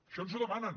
això ens ho demanen